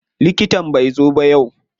Likitan bai zo ba yau.